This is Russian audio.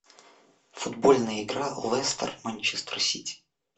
футбольная игра лестер манчестер сити